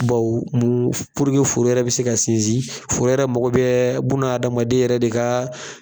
foro yɛrɛ bɛ se ka sinsin, foro yɛrɛ mako bɛ bunahadamaden yɛrɛ de kaa.